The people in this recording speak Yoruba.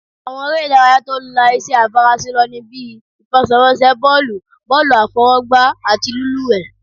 Àwọn eré ìdárayá tó la iṣẹ́ àfaraṣe lọ ní bíi,: ìfẹsẹ̀wọnsẹ̀ bọ́ọ̀lù, bọ́ọ̀lù àfọwọ́gbá, àti lílúwẹ̀ẹ́